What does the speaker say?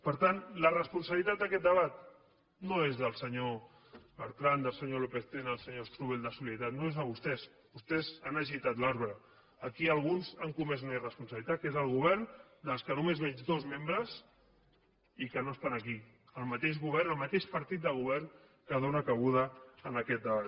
per tant la responsabilitat d’aquest debat no és del senyor bertran del senyor lópez tena del senyor strubell de solidaritat no és de vostès vostès han agitat l’arbre aquí alguns han comès una irresponsabilitat que és el govern del qual només veig dos membres i que no estan aquí el mateix govern el mateix partit de govern que dóna cabuda a aquest debat